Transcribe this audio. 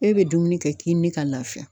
E bɛ dumuni kɛ k'i mi ka lafiya.